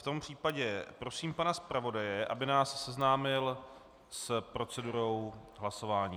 V tom případě prosím pana zpravodaje, aby nás seznámil s procedurou hlasování.